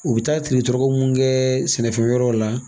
U bɛ taa triki jɔrɔkɔ munnu kɛɛ sɛnɛ fɛn wɛrɛw la.